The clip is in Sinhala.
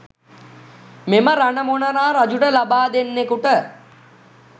මෙම රණ මොනරා රජුට ලබා දෙන්නෙකුට